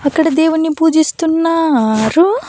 అక్కడ దేవుణ్ణి పూజిస్తున్నారు.